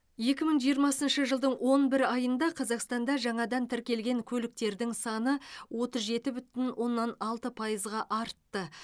екі мың жиырмасыншы жылдың он бір айында қазақстанда жаңадан тіркелген көліктердің саны отыз жеті бүтін оннан алты пайызға артты